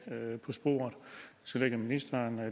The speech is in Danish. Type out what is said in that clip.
på sporet så lægger ministeren